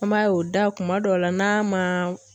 An b'a ye o da kuma dɔw la n'a ma